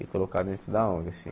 E colocar dentro da ong, assim.